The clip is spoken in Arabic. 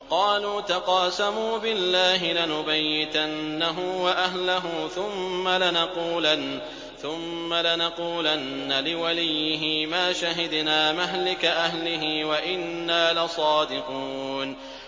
قَالُوا تَقَاسَمُوا بِاللَّهِ لَنُبَيِّتَنَّهُ وَأَهْلَهُ ثُمَّ لَنَقُولَنَّ لِوَلِيِّهِ مَا شَهِدْنَا مَهْلِكَ أَهْلِهِ وَإِنَّا لَصَادِقُونَ